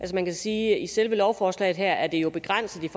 man kan sige at i selve lovforslaget her er det jo begrænset